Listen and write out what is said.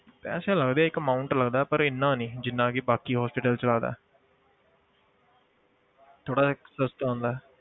ਪੈਸੇ ਲੱਗਦੇ ਆ ਇੱਕ amount ਲੱਗਦਾ, ਪਰ ਇੰਨਾ ਨਹੀਂ ਜਿੰਨਾ ਕਿ ਬਾਕੀ hospital 'ਚ ਲੱਗਦਾ ਹੈ ਥੋੜ੍ਹਾ ਜਿਹਾ ਸਸਤਾ ਹੁੰਦਾ ਹੈ